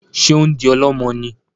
Ṣe o ń di ọlọmọ ní?